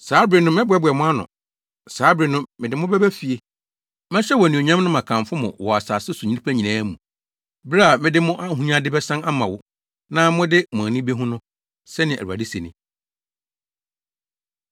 Saa bere no, mɛboaboa mo ano; saa bere no, mede mo bɛba fie. Mɛhyɛ wo anuonyam na makamfo mo wɔ asase so nnipa nyinaa mu bere a mede mo ahonyade bɛsan ama wo na mode mo ani behu no,” sɛnea Awurade se ni.